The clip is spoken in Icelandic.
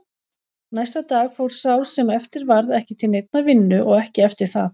Næsta dag fór sá sem eftir varð ekki til neinnar vinnu og ekki eftir það.